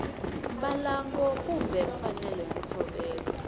mbalango kumbe mfanelo ya ntshovelo